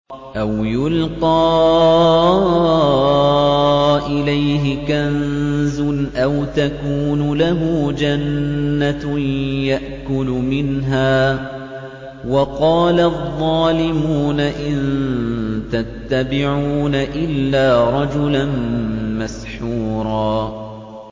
أَوْ يُلْقَىٰ إِلَيْهِ كَنزٌ أَوْ تَكُونُ لَهُ جَنَّةٌ يَأْكُلُ مِنْهَا ۚ وَقَالَ الظَّالِمُونَ إِن تَتَّبِعُونَ إِلَّا رَجُلًا مَّسْحُورًا